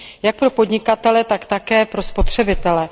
jak pro podnikatele, tak také pro spotřebitele.